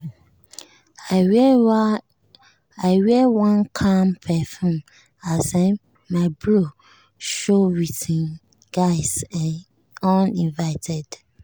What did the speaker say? i wear one calm perfume as um my bro show with him guys um uninvited.